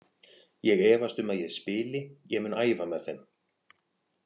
Ég efast um að ég spili, ég mun æfa með þeim.